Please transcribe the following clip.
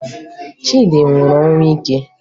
Chidi nwụrụ ọnwụ ike